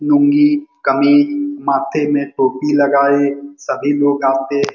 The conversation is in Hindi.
लूंगी कमीज माथे में टोपी लगाए सभी लोग यहां पे --